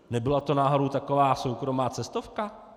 Nebyla to náhodou taková soukromá cestovka?